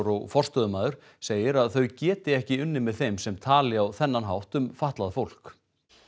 og forstöðumaður segir að þau geti ekki unnið með þeim sem tali á þennan hátt um fatlað fólk